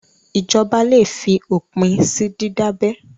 Ìjọba le fi òpin sí dídábẹ.